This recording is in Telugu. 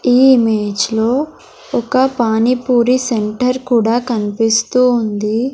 ఈ ఇమేజ్ లో ఒక పానీ పూరీ సెంటర్ కూడా కన్పిస్తూ ఉంది.